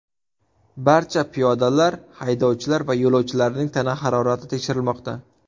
Barcha piyodalar, haydovchilar va yo‘lovchilarning tana harorati tekshirilmoqda.